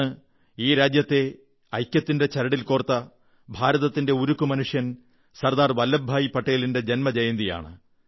അന്ന് ഈ രാജ്യത്തെ ഐക്യത്തിന്റെ ചരടിൽ കോർത്ത ഭാരതത്തിന്റെ ഉരുക്കു മനുഷ്യൻ സർദാർ വല്ലഭഭായി പട്ടേലിന്റെ ജന്മജയന്തിയാണ്